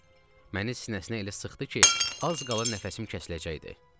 Məni sinəsinə elə sıxdı ki, az qala nəfəsim kəsiləcəkdi.